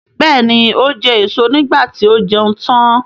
Bẹ́ẹ̀ni, ó jẹ èso niígbà tí ó jẹun tán.